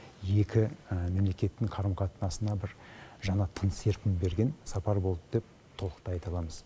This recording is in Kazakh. екі мемлекеттің қарым қатынасына бір жаңа тың серпін берген сапар болды деп толықтай айта аламыз